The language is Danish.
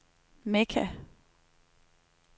Mekka